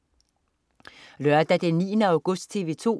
Lørdag den 9. august - TV 2: